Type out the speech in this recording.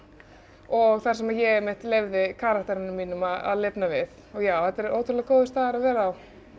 og þar sem ég einmitt leyfði karakterunum mínum að lifna við já þetta er ótrúlega góður staður að vera á